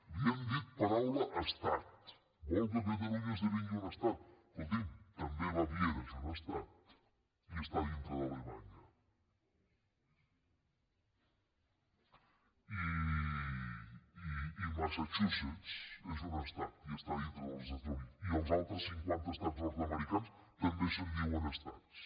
l’hi hem dit paraula estat vol que catalunya esdevingui un estat escolti’m també baviera és un estat i està dintre d’alemanya i massachusetts és un estat i està dintre dels estats units i dels altres cinquanta estats nord americans també se’n diuen estats